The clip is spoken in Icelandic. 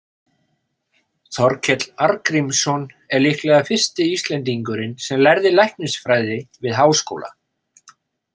Þorkell Arngrímsson er líklega fyrsti Íslendingurinn sem lærði læknisfræði við háskóla.